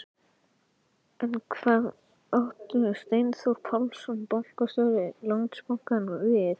En hvað átti Steinþór Pálsson, bankastjóri Landsbankans við?